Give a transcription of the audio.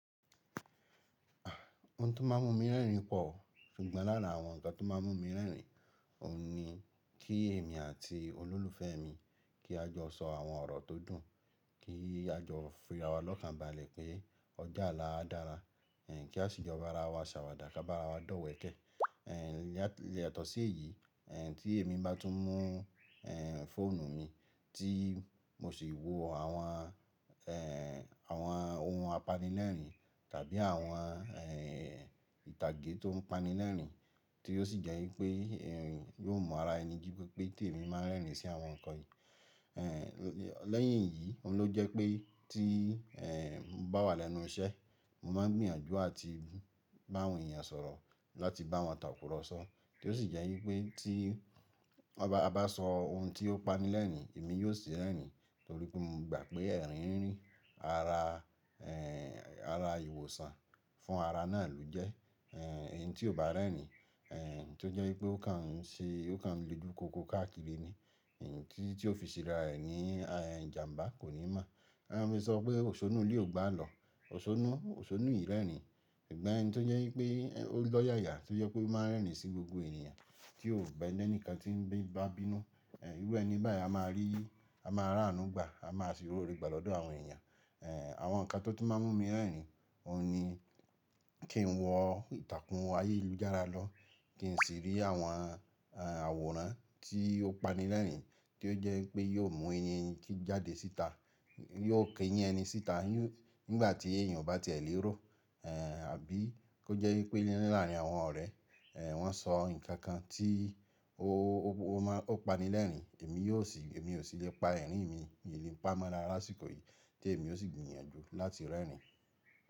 Ohun tó máa ń mú mi rẹ́rìn-ín pọ̀, oun kan lára àwọn nnkan tó máa ń mú mi lẹ́rìn-ín, òun ni kí èmi àti olólùfẹ́ mi, kí a jọ sọ àwọn ọ̀rọ̀ tó dùn, kí a jọ fi ara wa lọ́kànbalẹ̀ pé ọjọ́ olà á dára, kí a sì jọ bá ara wa ṣàwàdà ká bá ara wa dọ̀wẹ̀kẹ́. Yatọ̀ọ́ sí èyí, tí èmi bá tún mú fóònù mi tí mo sì wò àwọn ohun apanilẹ́rìn-ín tàbí àwọn ìtàgé tó ń panilẹ́rìn-ín tí ó sì jẹ́ wípé ẹ̀rín yóò mu ara ẹni jí pé pé tèmi máa ń rẹ́rìn-ín sí àwọn nǹkan yìí. Lẹ́yìn yìí, òun ló jẹ́ pé tí mo bá wà lẹ́nu iṣẹ́, mo máa gbìyànjú àti bá àwọn èèyàn sọ̀rọ̀ láti bá wọn tàkùrọ̀sọ tí ó sì jẹ́ wípé tí a bá sọ ohun tí ó panilẹ́rìn-ín, èmi yóò ṣì rẹ́rìn-ín torí pé mo gbà pé ẹ̀rín ń rí ara ìwòsàn fún ara náà ló jẹ́. Ẹ̀yin tí ò bá rẹ́rìn-ín, tó jẹ́ wípé ó kàn ń le ju kòókòó káàkiri ni, tí ó fi sera rẹ̀ ní ìjàǹbá kò ní mọ̀. A máa ń sọ pé òṣónú ilé ò gbo àlọ́, òṣónú ìrẹ́rìn-ín. Sugbon ẹni tó jẹ́ wípé ó lọ́yàyà tó jẹ́ pé ó máa ń rẹ́rìn-ín sí gbogbo ènìyàn tí ó kò bẹ́ẹ̀ lẹ́nu kan tí ń bá bínú. Irú ẹni báyìí a máa rí, a máa rá àánú gbà, a máa sì ro're gbà lọ́dọ̀ àwọn èèyàn. Àwọn nǹkan tó tun máa ń mú mi rẹ́rìn-ín, òun ni kí n wọ ìtàkùn ayélujára lọ, kí n sì rí àwọn àwòrán tí ó panilẹ́rìn-ín tí ó jẹ́ wípé yóò mú eyín jáde síta, yóò keyin ẹni síta. Nígbà tí èèyàn o bá ti ẹ lẹ́rọ àbí kó jẹ́ wípé láàrín àwọn ọ̀rẹ́, wọ́n sọ nǹkan kan tí ó panilẹ́rìn-ín, èmi ò sì lè pa ẹ̀rín mi, mi ò lè pa mọ lásìkò yìí tí èmi ó sì gbìyànjú láti rẹ́rìn-ín.